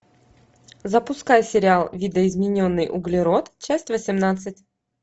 запускай сериал видоизмененный углерод часть восемнадцать